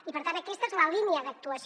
i per tant aquesta és la línia d’actuació